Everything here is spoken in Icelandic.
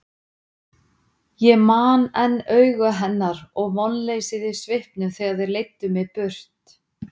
Ég man enn augu hennar og vonleysið í svipnum þegar þeir leiddu mig burt.